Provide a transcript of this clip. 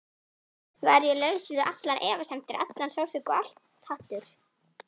Var ég laus við allar efasemdir, allan sársauka, allt hatur?